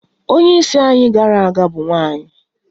Onye isi anyị gara aga bụ nwanyị